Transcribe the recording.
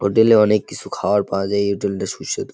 Hotel এ অনেক কিছু খাবার পাওয়া যায় এই হোটেল টা সুস্বাদু।